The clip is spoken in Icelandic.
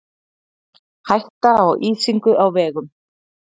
Hætta á ísingu á vegum